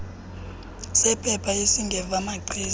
sephepha esingeva machiza